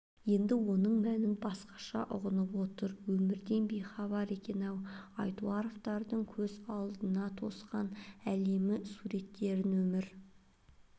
енді оның мәнін басқаша ұғып отыр өмірден бейхабар екен-ау айтуаровтардың көз алдына тосқан әлемі суреттерін өмір